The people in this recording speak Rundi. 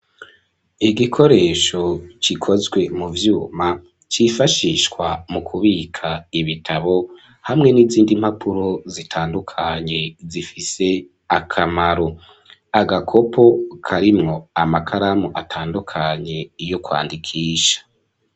Igikoresho gikozwe mu vyuma cifashishwa mu kubika ibitabo hamwe n'izindi mpapuro zitandukanye zifise akamaro, agakopo karimwo amakaramu atandukanye yo kwandikisha.